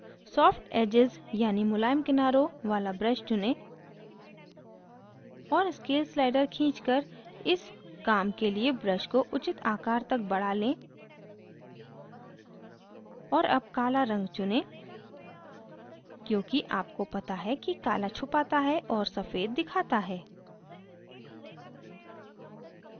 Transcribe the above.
soft edges यानी मुलायम किनारों वाला brush चुनें और scale slider खींच कर इस काम के लिए brush को उचित आकर तक बड़ा लें और अब काला रंग चुनें क्योंकि आपको पता है कि काला छुपाता है और सफ़ेद दिखाता है